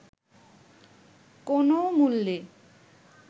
কোনও মূল্য